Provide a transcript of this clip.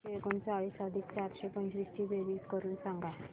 दोनशे एकोणचाळीस अधिक चारशे पंचवीस ची बेरीज करून सांगा